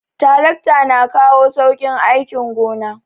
Tarakta na kawo sauƙin aikin gona